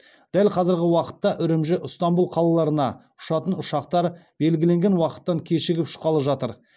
дәл қазіргі уақытта үрімжі ыстанбұл қалаларына ұшатын ұшақтар белгіленген уақыттан кешігіп ұшқалы жатыр